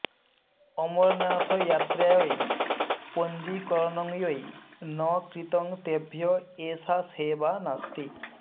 अमरनाथयात्रायै पञ्जीकरणं यैः न कृतं तेभ्यः एषा सेवा नास्ति